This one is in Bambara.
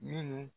Minnu